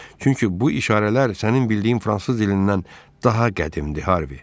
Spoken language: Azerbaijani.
Çünki bu işarələr sənin bildiyin fransız dilindən daha qədimdir, Harvi.